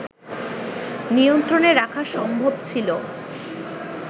নিয়ন্ত্রনে রাখা সম্ভব ছিল